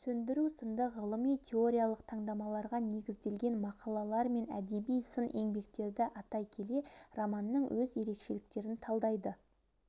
сөндіру сынды ғылыми-теориялық талдамаларға негізделген мақалалар мен әдеби-сын еңбектерді атай келе романның өз ерекшеліктерін талдайды